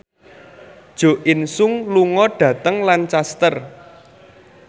Jo In Sung lunga dhateng Lancaster